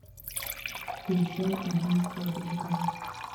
включай убийство рейгана